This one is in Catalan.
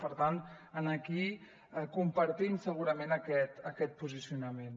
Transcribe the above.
per tant aquí compartim segurament aquest posicionament